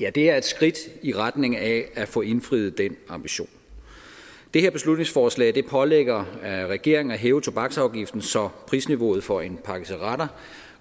ja det er et skridt i retning af at få indfriet den ambition det her beslutningsforslag pålægger regeringen at hæve tobaksafgiften så prisniveauet for en pakke cigaretter